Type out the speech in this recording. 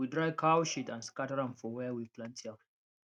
we dry cow shit and scatter am for where we plant yam